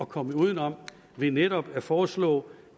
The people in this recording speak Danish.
kommet udenom ved netop at foreslå